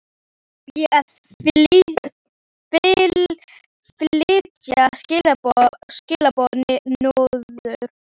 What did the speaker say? Á ég að flytja skilaboð norður?